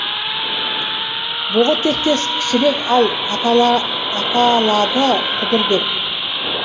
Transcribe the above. бұғы тектес кішірек ал аталады құдыр деп